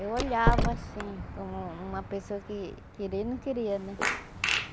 Eu olhava assim, como uma pessoa que queria e não queria, né?